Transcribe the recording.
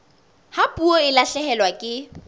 ha puo e lahlehelwa ke